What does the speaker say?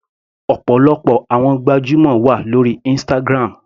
Ọ̀pọ̀lọpọ̀ àwọn gbajúmọ̀ wà lórí Instagram.